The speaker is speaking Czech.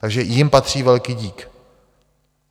Takže jim patří velký dík.